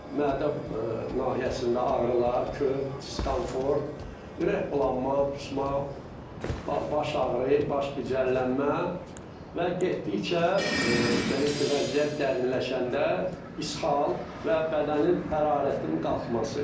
Mədə nahiyəsində ağrılar, köp, diskomfort, ürəkbulanma, qusma, baş ağrı, baş gicəllənmə və getdikcə belə ki, vəziyyət dərinləşəndə ishal və bədənin hərarətinin qalxması.